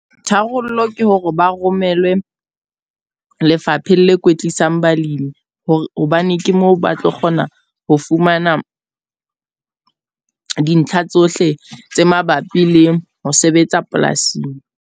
Tharollo ke hore ba romelwe lefapheng le kwetlisang balimi. Hobane ke moo ba tlo kgona ho fumana dintlha tsohle tse mabapi le ho sebetsa polasing.